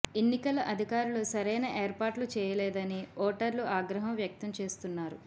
ఎన్నికల అధికారులు సరైన ఏర్పాట్లు చేయలేదని ఓటర్లు ఆగ్రహం వ్యక్తం చేస్తున్నారు